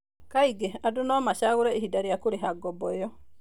Kaingĩ, andũ no macagũre ihinda rĩa kũrĩha ngombo ĩyo.